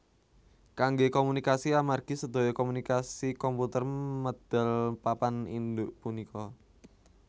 Kanggé komunikasi amargi sedaya komunikasi komputer medal papan induk punika